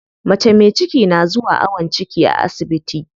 Mace me ciki na zuwa awon ciki a asibiti.